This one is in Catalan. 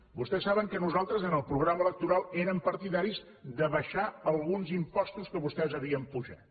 vostès saben que nosaltres en el programa electoral érem partidaris d’abaixar alguns impostos que vostès havien apujat